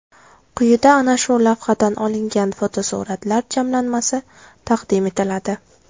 Quyida ana shu lavhadan olingan fotosuratlar jamlanmasi taqdim etiladi.